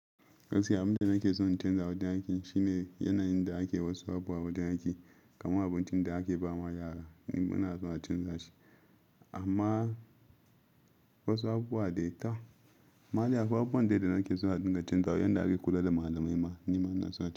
Gaskiya abin da nake son in canza a wajen aiki shine yanayin da ake wasu abubuwa a wajen aiki, kamar abincin da ake ba ma yara ni bana so na canza shi. Amma wasu abubuwa dai ta, ma dai akwai abubuwan daida nake so na dinga canza wa, yanda ake kula da malamai ma ni bana so na canza.